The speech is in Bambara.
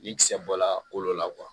Ni kisɛ bɔla kolo la